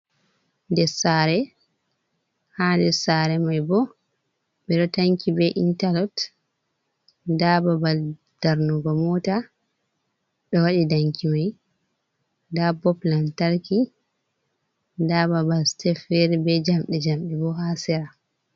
Dessaare ha nder sare mai bo ɓeɗo tanki be intalok, nda babal darnugo mota ɗo waɗi danki mai, nda bob nantarki, nda babal sitef fere be njamɗe njamɗe bo ha sera.